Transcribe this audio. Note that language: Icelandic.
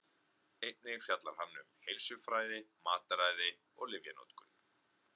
Einnig fjallar hann um heilsufræði, mataræði og lyfjanotkun.